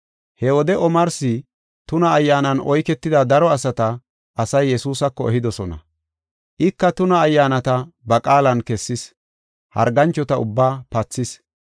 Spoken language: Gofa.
He wode omarsi tuna ayyaanan oyketida daro asata, asay Yesuusako ehidosona. Ika tuna ayyaanata ba qaalan kessis, harganchota ubbaa pathis.